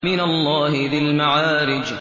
مِّنَ اللَّهِ ذِي الْمَعَارِجِ